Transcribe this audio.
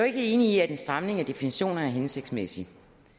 ikke enige i at en stramning af definitionerne er hensigtsmæssigt